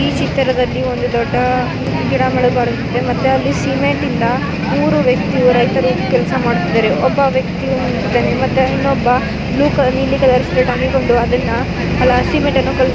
ಈ ಚಿತ್ರದಲ್ಲಿ ಒಂದು ದೊಡ್ಡ ಗಿಡ ಮರಗಳು ಕಾಣುತ್ತಿವೆ ಮತ್ತು ಅಲ್ಲಿ ಸಿಮೆಂಟ್ ಇಂದ ಮೂರು ವ್ಯಕ್ತಿಗಳು ಕೆಲಸ ಮಾಡುತ್ತಿದ್ದಾರೆ. ಒಬ್ಬ ವ್ಯಕ್ತಿ ನಿಂತಿದ್ದಾನೆ ಇನ್ನೊಬ್ಬ ಬ್ಲೂ ಕಲರ್ ನೀಲಿ ಕಲರ್ ಶರ್ಟ್ ಹಾಕಿಕೊಂಡು ಅದನ್ನ ಸಿಮೆಂಟನ್ನು ಕಳಿಸ್ತಾ ಇದ್ದಾನೆ